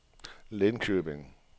Linköping